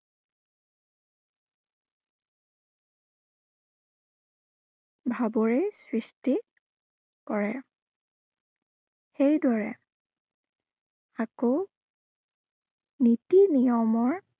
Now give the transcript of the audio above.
ভাৱৰে সৃষ্টি, কৰে। সেই দৰে আকৌ নীতি নিয়মৰ